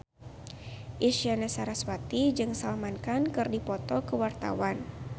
Isyana Sarasvati jeung Salman Khan keur dipoto ku wartawan